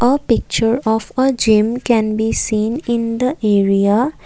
a picture of a gym can be seen in the area.